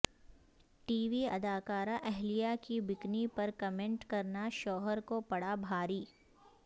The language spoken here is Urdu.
ٹی وی ادا کارہ اہیلہ کی بکنی پر کمینٹ کرنا شوہر کو پڑا بھاری